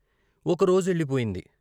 ఒక రోజెళ్ళిపోయింది.